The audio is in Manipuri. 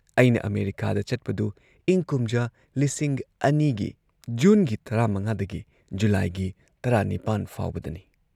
ꯑꯩꯅ ꯑꯃꯦꯔꯤꯀꯥꯗ ꯆꯠꯄꯗꯨ ꯏꯪ ꯀꯨꯝꯖꯥ ꯂꯤꯁꯤꯡ ꯑꯅꯤꯒꯤ ꯖꯨꯟꯒꯤ ꯇꯔꯥ ꯃꯉꯥ ꯗꯒꯤ ꯖꯨꯂꯥꯏꯒꯤ ꯇꯔꯥ ꯅꯤꯄꯥꯟ ꯐꯥꯎꯕꯗꯅꯤ ꯫